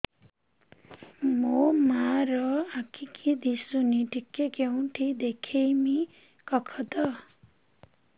ମୋ ମା ର ଆଖି କି ଦିସୁନି ଟିକେ କେଉଁଠି ଦେଖେଇମି କଖତ